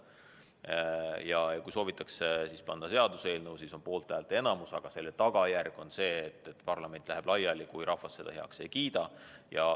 Kui soovitakse panna seaduseelnõu, siis on vajalik poolthäälte enamus, aga selle tagajärg on see, et parlament läheb laiali, kui rahvas eelnõu heaks ei kiida.